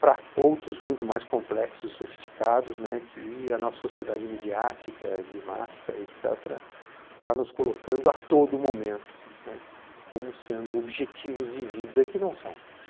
para outros muito mais complexos e sofisticados, né, que a nossa sociedade midiática de massa et cetera., está nos colocando a todo momento, né, como sendo objetivos de vida que não são.